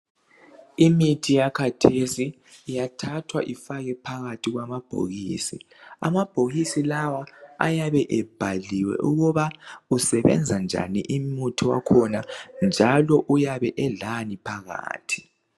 Imithi yakhathesi iyathathwa ifakwe phakathi kwamabhokisi. Amabhokisi lawa ayabe ebhaliwe ukuba usebenza njani umuthi wakhona njalo uyabe ulani phakathi.